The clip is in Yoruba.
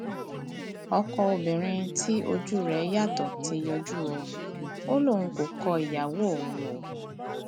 ọkọ obìnrin tí ojú rẹ yàtọ ti yọjú o ò lóun kò kọ ìyàwó òun o